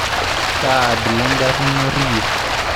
Kaa abila engari inyorr iyie?